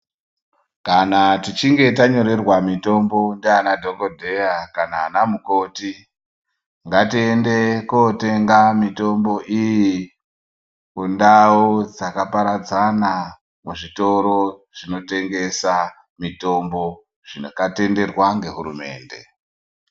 Kana tichinge tanyorera mitombo ndiana dhogodheya nana mukoti. Ngatiende kotenda mitombo iyi kundau dzakaparadzana muzvitoro zvinotengesa mitombo zvakatenderwa ngehurumende.